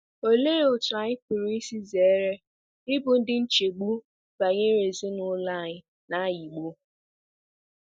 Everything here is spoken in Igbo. Olee otú anyị pụrụ isi zere ịbụ ndị nchegbu banyere ezinụlọ anyị na - anyịgbu?